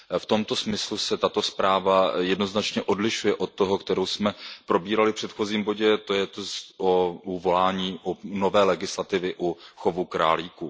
V tomto smyslu se tato zpráva jednoznačně odlišuje od té, kterou jsme probírali v předchozím bodě, to jest o volání po nové legislativě u chovu králíků.